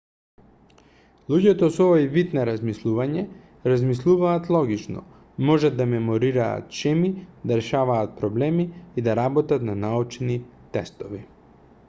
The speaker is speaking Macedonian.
луѓето со овој вид на размислување размислуваат логично можат да меморираат шеми да решаваат проблеми и да работат на научни тестови